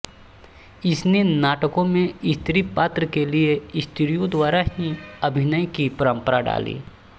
इसने नाटकों में स्त्री पात्र के लिए स्त्रियों द्वारा ही अभिनय की परम्परा डाली